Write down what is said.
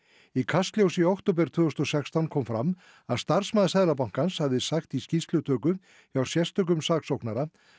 í Kastljósi í október tvö þúsund og sextán kom fram að starfsmaður Seðlabankans hefði sagt í skýrslutöku hjá sérstökum saksóknara